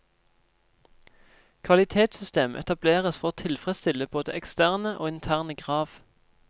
Kvalitetssystem etableres for å tilfredsstille både eksterne og interne krav.